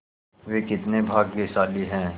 वे कितने भाग्यशाली हैं